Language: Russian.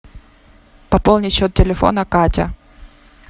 пополнить счет телефона катя